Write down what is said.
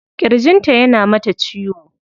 Kirjin ta yana mata ciwo.